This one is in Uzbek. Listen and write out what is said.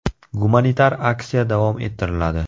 Gumanitar aksiya davom ettiriladi.